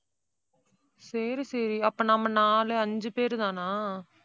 சரி, சரி. அப்ப நம்ம நாலு, அஞ்சு பேருதானா?